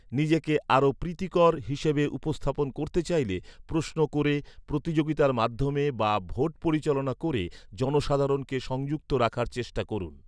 নিজেকে আরও প্রীতিকর হিসেবে উপস্থাপন করতে চাইলে প্রশ্ন ক’রে, প্রতিযোগিতার মাধ্যমে বা ভোট পরিচালনা ক’রে জনসাধারণকে সংযুক্ত রাখার চেষ্টা করুন।